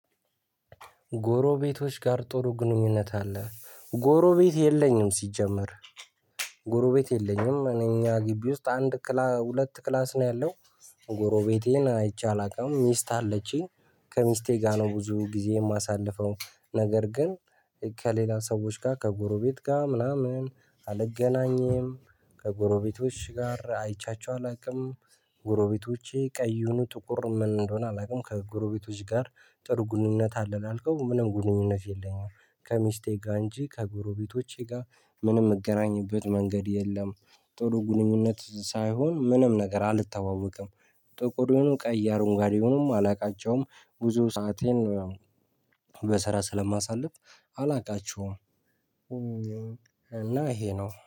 ጎሮቤቶች ጋር ጥሩ ግንኙነት አለህ? ጎሮቤት የለኝም ሲጀመር ጎሮቤት የለኝም እኛ ግቢ ውስጥ አንድ ክላስ ሁለት ክላስ ነው ያለው ጎሮቤቴን አይቼ አላውቅም። ሚስት አለችኝ። ከሚስቴ ጋር ነው ብዙ ጊዜ የማሳልፈው። ነገር ግን ከሌላ ሰዎች ጋር ከጎረቤት ጋር ምናምን አልገናኝም ከጎረቤቶች ጋር አይቻቸው አላውቅም። ጎረቤቶቼ ቀይ ይሁኑ ጥቁር ምን እንደሆነ አላውቅም። ከጎረቤቶች ጋር ጥሩ ግንኙነት አለ ላልከው ምንም ግንኙነት የለኝም። ከሚስቴ ጋር እንጂ ከጎሮቤቶቼ ጋር ምንም የምገናኝበት መንገድ የለም። ጥሩ ግንኙነት ሳይሆን ምንም ነገር አልተዋወቅም። ጥቁር ይሁኑ ቀይ አረንጓዴ ይሁኑም አላውቃቸውም። ብዙ ሰአቴን ነው ያው በስራ ስለማሳልፍ አላውቃቸውም። እ እና ይሄ ነው